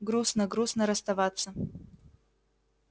грустно грустно расставаться